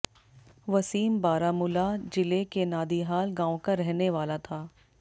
वसीम बारामुला जिले के नादिहाल गांव का रहने वाला था